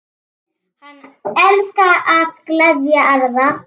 Hann elskaði að gleðja aðra.